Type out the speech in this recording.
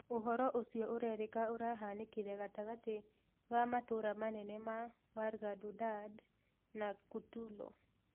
Ũhoro ũcio urerika urahanĩkire gatagatĩ ga matũra manene ma wargadadud na kutulo